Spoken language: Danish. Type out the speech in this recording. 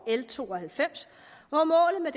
l to og halvfems og målet med